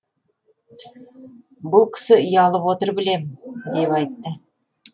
бұл кісі ұялып отыр білем деп айтты